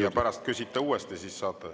ja pärast küsite uuesti, siis saate juurde.